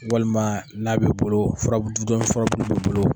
Walima n'a b'i bolo bolo.